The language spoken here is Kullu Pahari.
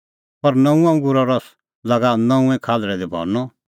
पर नऊंअ अंगूरो रस लागा नऊंऐं खाल्हल़ै दी भरनअ